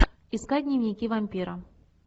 искать дневники вампира